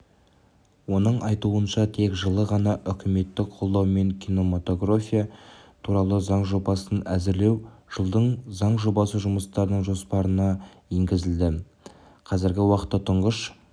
оның айтуынша тек жылы ғана үкіметтің қолдауымен кинематография туралы заң жобасын әзірлеу жылдың заң жобасы жұмыстарының жоспарына енгізілді қазіргі уақытта тұңғыш